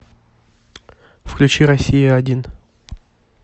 включи россия один